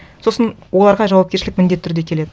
сосын оларға жауапкершілік міндетті түрде келеді